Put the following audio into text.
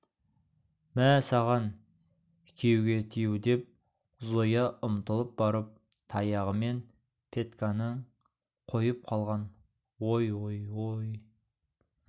мә саған күйеуге тию деп зоя ұмтылып барып таяғымен петьканы қойып қалған ой ой ой